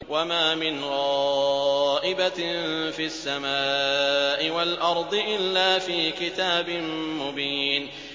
وَمَا مِنْ غَائِبَةٍ فِي السَّمَاءِ وَالْأَرْضِ إِلَّا فِي كِتَابٍ مُّبِينٍ